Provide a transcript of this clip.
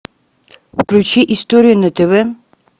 включи историю на тв